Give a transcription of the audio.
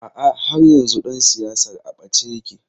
A'a, har yanzu ɗan siyasar a ɓace yake.